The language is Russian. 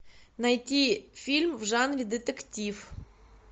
найти фильм в жанре детектив